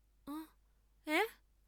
অ্যাঁ অ্যাঁ?